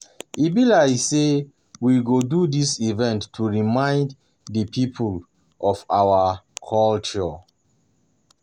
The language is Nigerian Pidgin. E be like say we go um do dis event to remind the people of our culture